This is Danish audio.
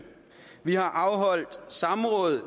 vi har afholdt samråd